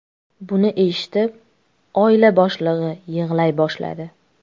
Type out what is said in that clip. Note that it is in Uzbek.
Buni eshitib, oila boshlig‘i yig‘lay boshladi.